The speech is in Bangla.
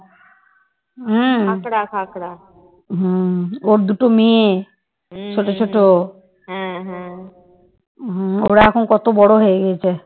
হম ওরা এখন কত বড় হয়ে গেছে